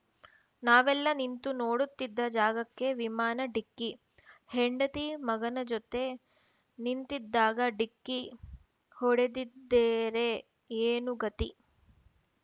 ನಾವೆಲ್ಲ ನಿಂತು ನೋಡುತ್ತಿದ್ದ ಜಾಗಕ್ಕೇ ವಿಮಾನ ಡಿಕ್ಕಿ ಹೆಂಡತಿ ಮಗನ ಜೊತೆ ನಿಂತಿದ್ದಾಗ ಡಿಕ್ಕಿ ಹೊಡೆದಿದ್ದೆರೆ ಏನು ಗತಿ